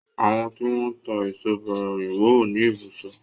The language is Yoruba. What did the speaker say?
Àwọn tí wọ́n ń tá èso bàrà òyìnbó ò ní ibùsọ̀.